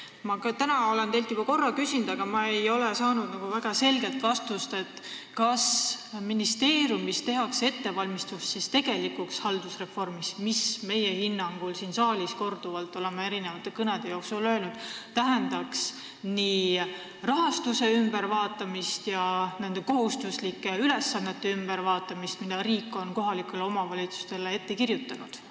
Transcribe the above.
Ma olen seda teilt juba korra küsinud, aga ei ole väga selget vastust saanud: kas ministeeriumis tehakse ettevalmistusi tegelikuks haldusreformiks, mis meie hinnangul – oleme seda siin saalis korduvalt erinevate kõnede ajal öelnud – tähendaks nii rahastuse kui ka kohustuslike ülesannete ülevaatamist, mida riik on kohalikele omavalitsustele ette kirjutanud?